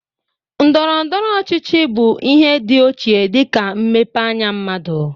Ndọrọndọrọ ọchịchị bụ ihe dị ochie dịka mmepe anya mmadụ.